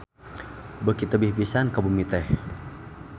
Beuki tebih pisan ka bumi teh.